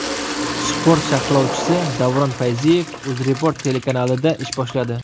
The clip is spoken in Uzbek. Sport sharhlovchisi Davron Fayziyev UzReport telekanalida ish boshladi.